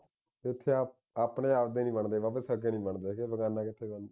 ਇੱਥੇ ਆਪਣੇ ਆਪ ਦੇ ਨਹੀਂ ਬਣਦੇ ਸੱਗੇ ਨਹੀਂ ਬਣਦੇ ਹੈਗੇ ਬਗਾਨਾ ਕਿਥੋਂ ਬਣਨਾ